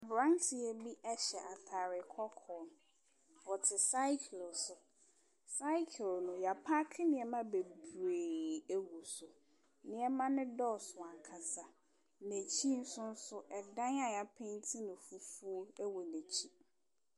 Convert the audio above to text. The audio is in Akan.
Aberanteɛ bi hyɛ atade kɔkɔɔ. Ɔte cycle so. Cycle no, wapaake nneɛma bebree agu so. Nneɛma no dɔɔso ankasa. N'akyi nsoso, ɛdan a wɔapenti no fufu wɔ n'akyi.